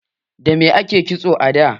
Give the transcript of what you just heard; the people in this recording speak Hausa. Dame ake kitso a da?